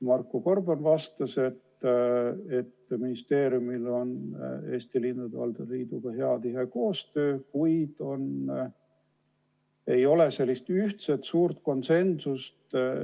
Marko Gorban vastas, et ministeeriumil on Eesti Linnade ja Valdade Liiduga hea tihe koostöö, kuid ei ole sellist ühtset suurt konsensust.